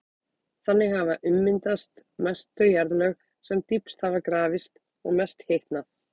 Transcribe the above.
Þannig hafa ummyndast mest þau jarðlög sem dýpst hafa grafist og mest hitnað.